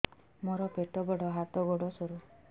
ମୋର ପେଟ ବଡ ହାତ ଗୋଡ ସରୁ